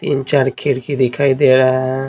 तीन चार खिड़की दिखाई दे रहा है।